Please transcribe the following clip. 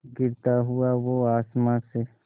गिरता हुआ वो आसमां से